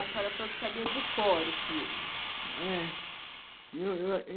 A senhora falou que sabia de cor o filme. É, eu eu